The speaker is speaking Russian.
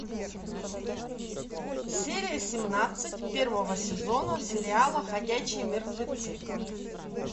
серия семнадцать первого сезона сериала ходячие мертвецы